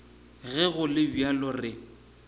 ge go le bjalo re